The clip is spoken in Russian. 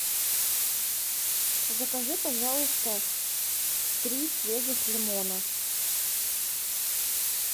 закажи пожалуйста три свежих лимона